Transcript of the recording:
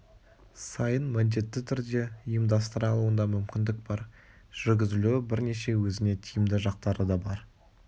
сайын міндетті түрде ұйымдастыра алуына мүмкіндік бар жүргізілуі бірнеше өзіне тиімді жақтары да бар